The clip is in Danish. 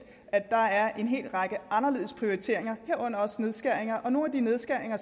at der er en hel række anderledes prioriteringer herunder også nedskæringer nogle af de nedskæringer